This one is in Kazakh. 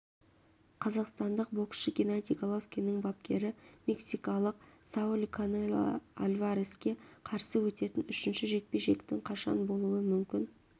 қазақстандық боксшы геннадий головкиннің бапкері мексикалық сауль канело альвареске қарсы өтетін үшінші жекпе-жектің қашан болуы мүмкін